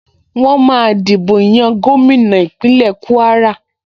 Wọ́n máa dìbò yan gómìnà Ìpínlẹ̀ Kúwárà